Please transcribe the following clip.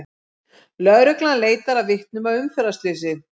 Lögreglan leitar að vitnum að umferðarslysi